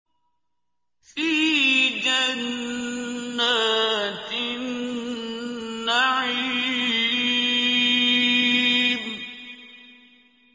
فِي جَنَّاتِ النَّعِيمِ